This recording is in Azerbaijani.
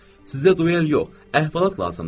Sizə duel yox, əhvalat lazımdır.